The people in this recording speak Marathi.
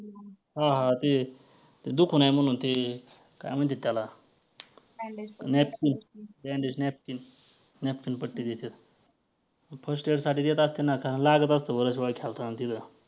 हां हां ते दुखू नये म्हणून ते काय म्हणत्यात त्याला bandage napkin napkin पट्टी देत्यात first year साठी देत असतील त्यांना लागत असतं बऱ्याचवेळेला खेळताना तिथं.